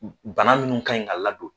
Bana minnu ka ɲi ka ladon